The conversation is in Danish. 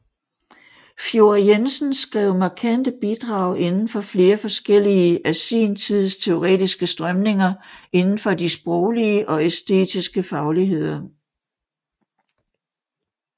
Fjord Jensen skrev markante bidrag inden for flere forskellige af sin tids teoretiske strømninger indenfor de sproglige og æstetiske fagligheder